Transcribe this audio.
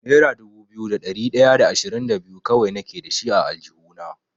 Nera dubu biyu da ɗari ɗaya da ashirin da biyu kawai nake dashi a aljihuna.